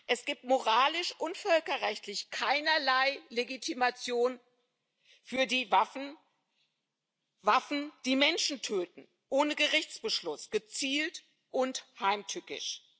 Es gibt moralisch und völkerrechtlich keinerlei Legitimation für die Waffen Waffen, die Menschen töten ohne Gerichtsbeschluss, gezielt und heimtückisch.